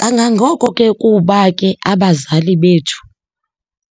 Kangangoko ke kuba ke abazali bethu